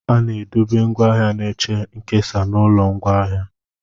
A na-edobe ngwaahịa na-eche nkesa n'ụlọ ngwaahịa.